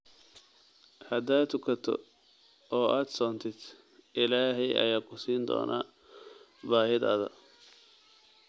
Haddaad tukato oo aad soontid, Ilaahay ayaa ku siin doona baahidaada